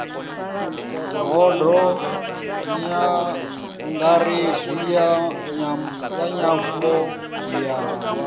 bodo nyangaredzi ya nyambo ya